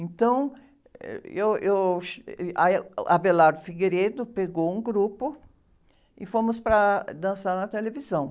Então, eu, eu, ah, o pegou um grupo e fomos para dançar na televisão.